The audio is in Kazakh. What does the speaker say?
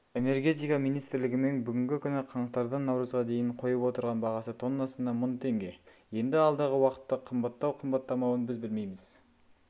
энергетика министрлігімен бүгінгі күні қаңтардан наурызға дейін қойып отырған бағасы тоннасына мың теңге енді алдағы уақытта қымбаттау-қымбаттамауын біз білмейміз